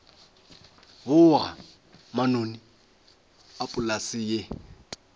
boga manoni a polase ye